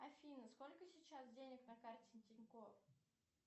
афина сколько сейчас денег на карте тинькофф